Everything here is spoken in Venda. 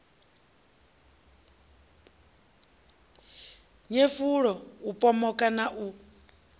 nyefula u pomoka na u